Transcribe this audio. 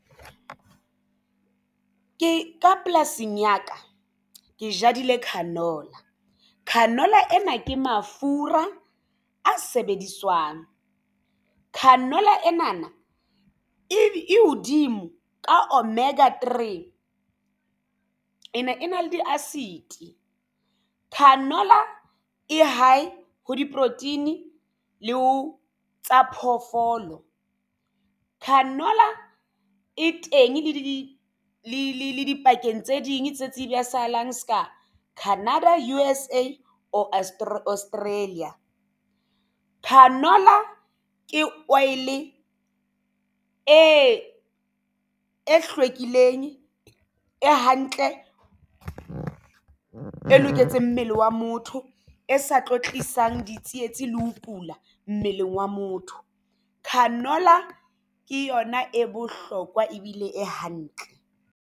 Ke ka polasing ya ka ke jadile canola. Canola ena ke mafura a sebediswang. Canola ena na e hodimo ka omega three ena e na le di-acid canola e hae ho di-protein le ho tsa phoofolo. Canola e teng le di le dibakeng j tse ding tse tsibisahalang. Se ka Canada, U_S_A or Australia. Canola ke oil e hlwekileng e hantle e loketseng mmele wa motho e sa tlo tlisang ditsietsi le ho kula mmeleng wa motho. Canola ke yona e bohlokwa ebile e hantle.